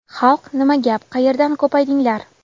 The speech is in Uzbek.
Xalq nima gap, qayerdan ko‘paydinglar.